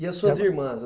E as suas irmãs?